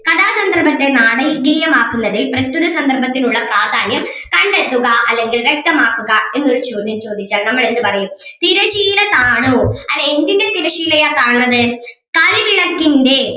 കഥാസന്ദർഭത്തെ നാടകീയമാക്കുന്നതിൽ പ്രസ്‌തുത സന്ദർഭത്തിനുള്ള പ്രാധാന്യം കണ്ടെത്തുക അല്ലെങ്കിൽ വ്യക്തമാക്കുക എന്നൊരു ചോദ്യം ചോദിച്ചാൽ നമ്മൾ എന്ത് പറയും തിരശീല താണു അല്ലേ എന്തിന്റെ തിരശീലയാ താണത് കളിവിളക്കിന്റെ